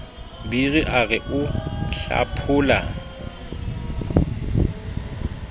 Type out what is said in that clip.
biri a re o hlaphola